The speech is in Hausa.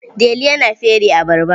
Delu yana fere abarba.